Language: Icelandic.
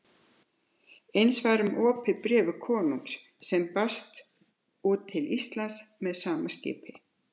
Eins var um opið bréf konungs sem barst út til Íslands með sama skipi.